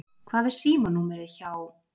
Hvað er símanúmerið hjá